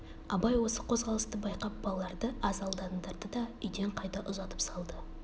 абай осы қозғалысты байқап балаларды аз алдандырды да үйден қайта ұзатып салды